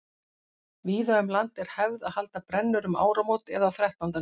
víða um land er hefð að halda brennur um áramót eða á þrettándanum